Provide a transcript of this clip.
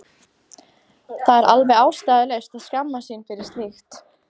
Það er alveg ástæðulaust að skammast sín fyrir slíkt.